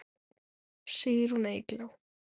Sigrún Eygló.